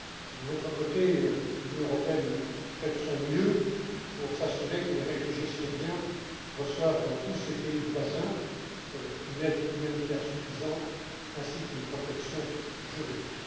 De notre côté, l'Union européenne fait de son mieux pour s'assurer que les réfugiés syriens reçoivent, dans tous ces pays voisins, une aide humanitaire suffisante ainsi qu'une protection juridique.